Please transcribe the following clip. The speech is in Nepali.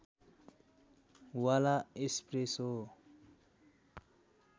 वाला एस्प्रेसो